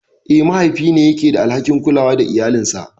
Eh, mahaifi ne yake da alhakin kulawa da iyalinsa.